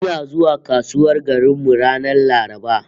Ina zuwa kasuwar garin mu ranar Laraba